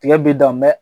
Tigɛ bi dan mɛ